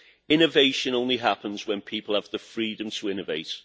Innovation happens only when people have the freedom to innovate.